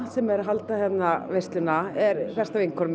sem er að halda hérna veisluna er besta vinkona